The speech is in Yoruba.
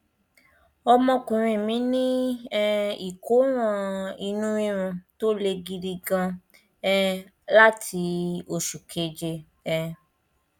ọmọkùnrin mí ní um ìkóràn inú rírun tó le gidi gan um láti oṣù keje um